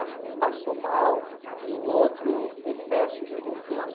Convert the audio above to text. Acho que um passou mal e o outro excesso de confiança.